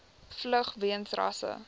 vlug weens rasse